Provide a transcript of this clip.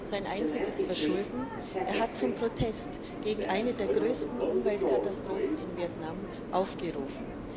Sein einziges Verschulden Er hat zum Protest gegen eine der größten Umweltkatastrophen in Vietnam aufgerufen.